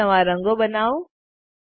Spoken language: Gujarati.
અમુક નવા રંગો બનાવો